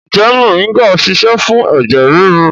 Ǹjẹ́ moringa ń ṣiṣẹ́ fún ẹ̀jẹ̀ ríru?